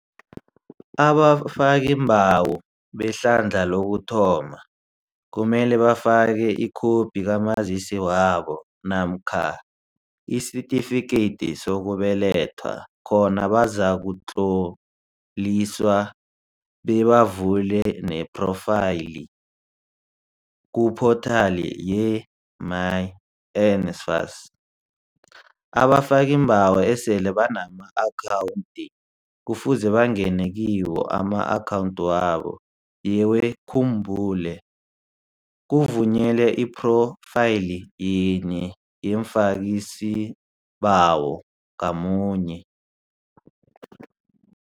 Abafakiimbawo behlandla lokuthoma kumele bafake ikhophi kaMazisi wabo namkha isitifikedi sokubelethwa khona bazakutloliswa bebavule nephrofayili kuphothali yemyNSFAS. Abafakiimbawo esele banama-akhawundi kufuze bangene kuma-akhawundi wabo, yewukhumbule, kuvunyelwe iphrofayili yinye yomfakisibawo ngamunye.